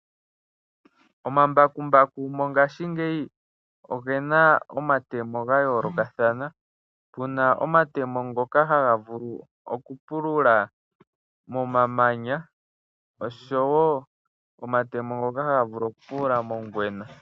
Omambakumbaku mongashingeyi oge na omatemo ga yoolokathana, pu na omatemo ngoka haga vulu okupulula momamanya osho wo omatemo ngoka haga vulu okupulula mongwena.